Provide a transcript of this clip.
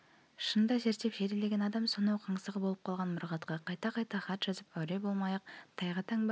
шынында зерттеп зерделеген адам сонау қаңсығы болып қалған мұрағатқа қайта-қайта хат жазып әуре болмай-ақ тайға таңба